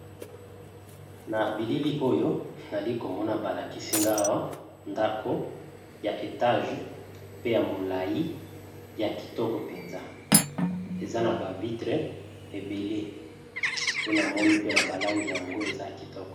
na bilili oyo nali komona balakisi-ngawa ndako ya etage pe ya molai ya kitoko mpenza eza na bavitre ebele nde namoni pe na balangi yango eza ya kitoko